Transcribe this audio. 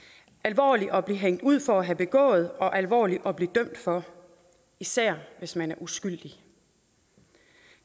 alvorligt at blive hængt ud for at have begået og alvorligt at blive dømt for især hvis man er uskyldig